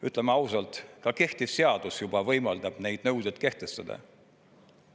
Ütleme ausalt, ka kehtiv seadus juba võimaldab neid nõudeid kehtestada.